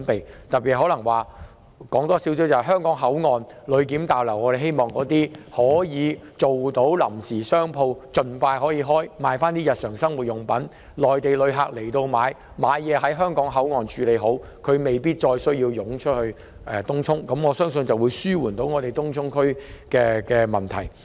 我特意提出一項建議，在香港口岸的旅檢大樓，政府應盡快安排臨時商鋪經營，出售日常生活用品，以便有意來港購物的內地旅客可在香港口岸消費，無需湧出東涌，我相信這樣能紓緩東涌的問題。